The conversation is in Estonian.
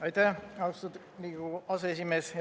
Aitäh, austatud Riigikogu aseesimees!